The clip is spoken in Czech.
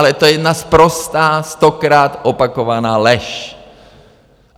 Ale to je jedna sprostá stokrát opakovaná lež.